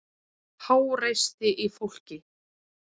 Háreysti í fólki.